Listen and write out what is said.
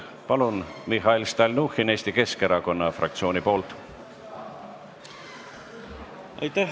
Palun, Mihhail Stalnuhhin Eesti Keskerakonna fraktsiooni nimel!